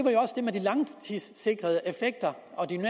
med de langtidssikrede effekter og de